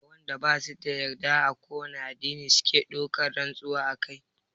Mai wanda basu da yadda a kowane addini suke ɗaukan rantsuwa akai?